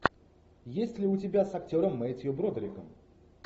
есть ли у тебя с актером мэттью бродериком